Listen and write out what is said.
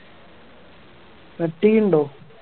cut ചെയ്യണുണ്ടോ